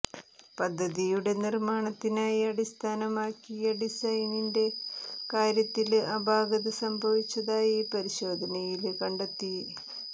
പദ്ധതിയുടെ നിര്മാണത്തിനായി അടിസ്ഥാനമാക്കിയ ഡിസൈനിന്റെ കാര്യത്തില് അപാകത സംഭവിച്ചതായി പരിശോധനയില് കണ്ടെത്തി